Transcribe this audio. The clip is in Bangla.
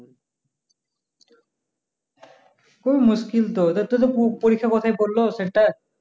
খুব মুসকিল তো ওদের তো পরীক্ষা কোথায় পরলো centre